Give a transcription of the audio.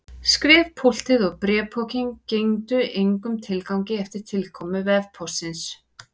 Skrifpúltið og bréfpokinn gengdu engum tilgangi eftir tilkomu vefpóstsins.